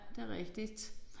Det rigtigt